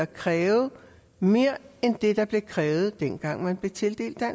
kræves mere end det der blev krævet dengang man blev tildelt